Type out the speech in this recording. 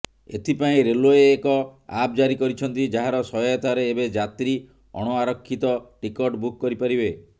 ଏଥିପାଇଁ ରେଲୱେ ଏକ ଆପ ଜାରି କରିଛନ୍ତି ଯାହାର ସହାୟତାରେ ଏବେ ଯାତ୍ରୀ ଅଣଆରକ୍ଷିତ ଟିକଟ ବୁକ କରିପାରିବେ